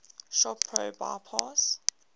shop pro bypass